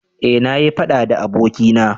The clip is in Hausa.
eh na yi faɗa da abokina